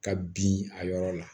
Ka bin a yɔrɔ la